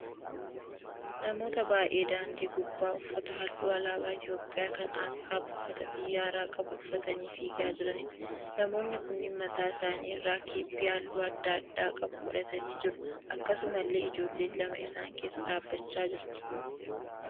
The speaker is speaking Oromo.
Namoota baay'ee daandii gubbaa uffata halluu alaabaa Itiyoopiyaa kan asxaa buufata xiyyaaraa qabu uffatanii fiigaa jiraniidha. Namoonni kunneen mataa isaanii irraa kephee halluu adda addaa qabu godhatanii jiru. Akkasumallee ijoolleen lama isaan keessa dhaabbachaa jirti.